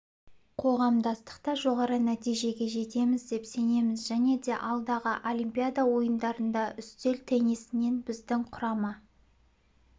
қоғамдастықта жоғары нәтижеге жетеміз деп сенеміз және де алдағы олимпиада ойындарында үстел теннисінен біздің құрама